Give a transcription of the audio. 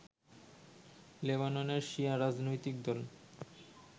লেবাননের শিয়া রাজনৈতিক দল